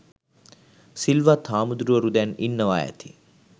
සිල්වත් හාමුදුරුවරු දැන් ඉන්නවා ඇති